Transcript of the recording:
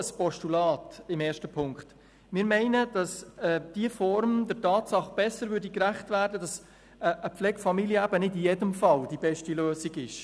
Weshalb ein Postulat in Ziffer 1? – Wir meinen, dass diese Form der Tatsache besser gerecht werden würde, dass eine Pflegefamilie nicht in jedem Fall die beste Lösung ist.